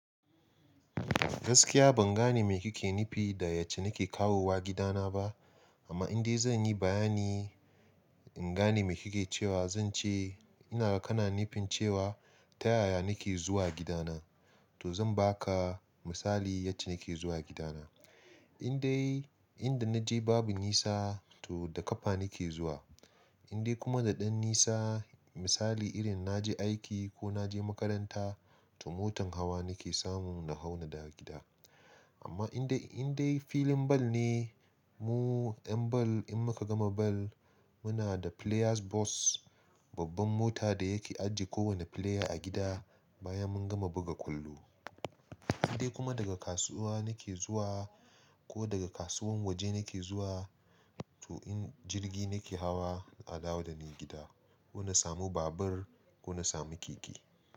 Gaskiya ban gane mai kike nufi da yacce nake kawowa gidana ba. Amma in dai zanyi bayani in gane mai kike cewa, zance ina kana nufin cewa ta yaya nake zuwa gidana. To zan baka misali yace nake zuwa gidana. In dai, inda naje babu nisa to da kafa nake zuwa. In dai kuma da ɗan nisa misali irin naje aiki ko naje makaranta to motan hawa nake samu na hau na dawo gida. Amma in dai, in dai filin bal ne, mu 'yan bal in muka gama bal muna da players' bus, babban mota da yake ajiye kowane player a gida bayan mun gama buga kwallo. In dai kuma daga kasuwa nake zuwa ko daga kasuwan waje nake zuwa to in jirgi nake hawa na dawo da ni gida. Ko na samu babur ko na samu keke.